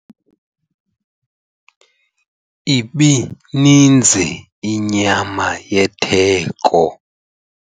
Ibininzi inyama yetheko.